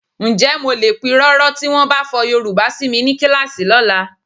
Ǹjẹ́ mo lè pirọrọ tí wọ́n bá fọ Yorùbá si mi ní kíláàsì lọ́la?